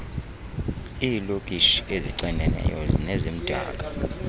iilokishi ezixineneyo nezimdaka